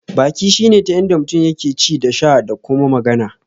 Baki shine ta inda mutum yake ci da sha da kuma magana.